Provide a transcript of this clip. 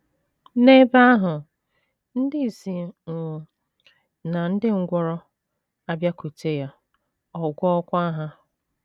N’ebe ahụ, ndị ìsì um na um ndị ngwụrọ abịakwute ya, ọ gwọọkwa ha.